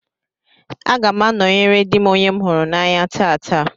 Aga m anọyere dị m onye m hụrụ n'anya taata.